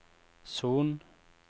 Son